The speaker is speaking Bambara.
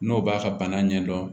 N'o b'a ka bana ɲɛdɔn